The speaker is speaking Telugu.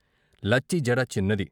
లచ్చి జడ చిన్నది.